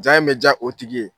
Ja in bɛ diya o tigi ye.